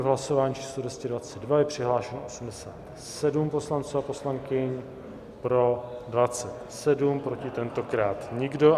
V hlasování číslo 222 je přihlášeno 87 poslanců a poslankyň, pro 27, proti tentokrát nikdo.